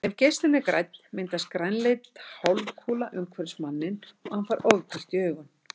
Ef geislinn er grænn myndast grænleit hálfkúla umhverfis manninn og hann fær ofbirtu í augun.